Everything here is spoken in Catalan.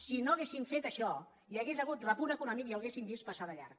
si no haguéssim fet això hi hauria hagut repunt econòmic i l’hauríem vist passar de llarg